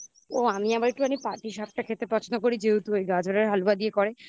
ও আমি আবার একটুখানি পাটিসাপটা খেতে পছন্দ করি যেহেতু এই গাজরের হালুয়া দিয়ে করে